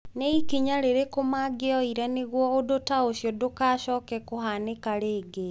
Nĩ ikinya rĩrĩkũ mangĩoire nĩguo ũndũ ta ũcio ndũgacooke kũhaanĩka rĩngĩ?